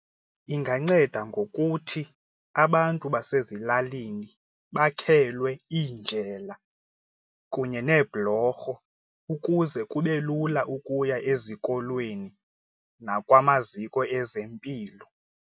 Inganceda ngokuthi abantu basezilalini bakhelwe iindlela kunye neebhlorho ukuze kube lula ukuya ezikolweni nakwamaziko ezempilo.